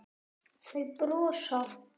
Þau brosa.